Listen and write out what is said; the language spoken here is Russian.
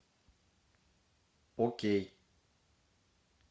окей